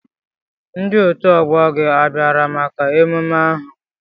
Ndi otu ọgbọ gị a bịara maka emume ahụ?